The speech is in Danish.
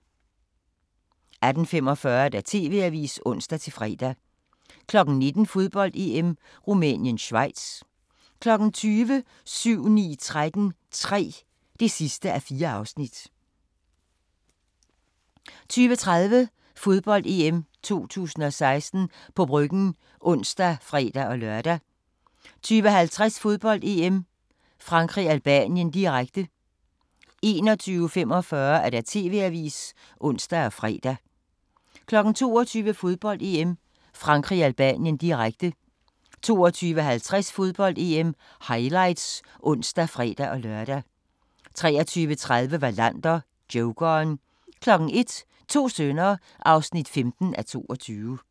18:45: TV-avisen (ons-fre) 19:00: Fodbold: EM - Rumænien-Schweiz 20:00: 7-9-13 III (4:4) 20:30: Fodbold: EM 2016 – på Bryggen (ons og fre-lør) 20:50: Fodbold: EM - Frankrig-Albanien, direkte 21:45: TV-avisen (ons og fre) 22:00: Fodbold: EM - Frankrig-Albanien, direkte 22:50: Fodbold: EM - highlights (ons og fre-lør) 23:30: Wallander: Jokeren 01:00: To sønner (15:22)